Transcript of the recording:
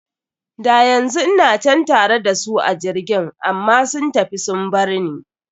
Da yanzu ina can tare da su a jirgin, amma sun tafi sun barni.